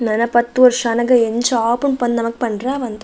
ನನ ಪತ್ತ್ ವರ್ಷ ಆನಗ ಎಂಚ ಆಪುಂಡು ಪಂದ್ ನಮಕ್ ಪಂಡ್ರೆ ಆವಂದ್.